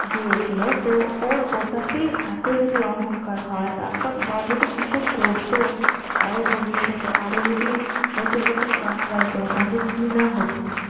গেছিল তো ওর ওটা তে এত যদি অহংকার হয় তারপর ধর কিছু করত আরো ভবিষ্যতে আরো যদি নতুন নতুন গান গাইতো তাহলে কি না হতো